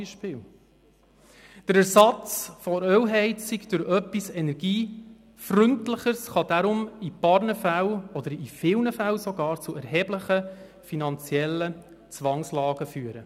Der Ersatz von Ölheizungen durch etwas Energiefreundlicheres kann daher in einigen oder sogar vielen Fällen zu erheblichen finanziellen Zwangslagen führen.